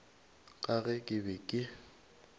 ka ge ke be ke